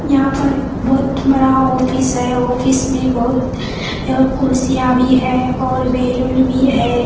यहाँ पर बहुत बड़ा ऑफिस है ऑफिस में बहुत कुर्सियाँ भी हैं और बैलून भी है ।